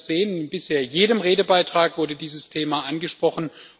Sie werden das sehen In bisher jedem Redebeitrag wurde dieses Thema angesprochen.